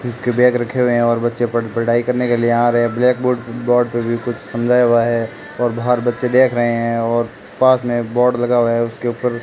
उक के बैग रखे हुए हैं और बच्चे पड़ पढ़ाई करने के लिए आ रहे हैं ब्लैक बोर्ड बोर्ड पर भी कुछ समझाया हुआ है और बाहर बच्चे देख रहे हैं और पास में बोर्ड लगा हुआ है उसके ऊपर।